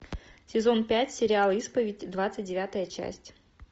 сезон пять сериал исповедь двадцать девятая часть